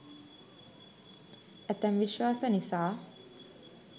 ඇතැම් විශ්වාස නිසා